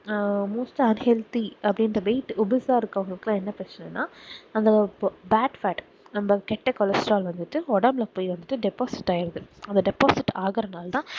ஆஹ் மூத்தார் healthy அப்டின்குற weight உபுஷாஇருக்குறவங்களுக்கு என்ன பிரச்சனை அந்த ஒரு backpad நம்ம கெட்ட cholesterol வந்துட்டு ஒடம்புல போய்வந்துட்டு deposit ஆகிருது அந்த deposit ஆகுறனாலதான்